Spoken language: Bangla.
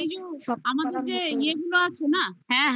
আর আর এই যো আমাদের যে ইয়ে গুলো আছে না